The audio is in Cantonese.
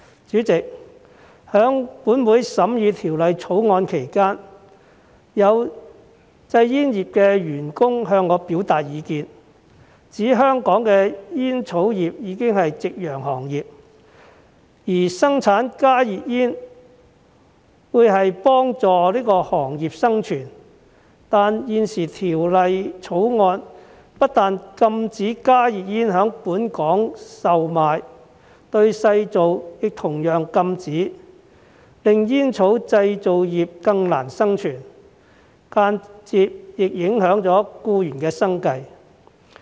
主席，本會在審議《條例草案》期間，有製煙業的僱員向我表達意見，指香港的煙草業已是夕陽行業，而生產加熱煙能幫助行業的生存，但現時《條例草案》不但禁止加熱煙在本港售賣，製造亦同遭禁止，令煙草製造業更難生存，間接亦影響僱員的生計。